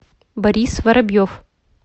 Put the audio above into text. борис воробьев